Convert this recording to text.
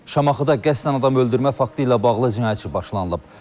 Şamaxıda qəsdən adam öldürmə faktı ilə bağlı cinayət işi başlanılıb.